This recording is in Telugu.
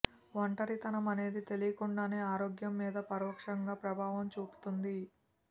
ఒంటరితనం అనేది తెలియకుండానే ఆరోగ్యం మీద పరోక్షంగా ప్రభావం చూపుతుంది